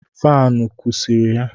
Faanụ kụsiri ya